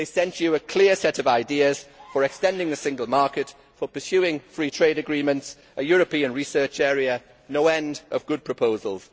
They sent you a clear set of ideas for extending the single market, for pursing free trade agreements, for a European research area, and no end of good proposals.